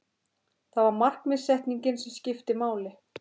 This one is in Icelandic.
Það var markaðssetningin sem skipti máli.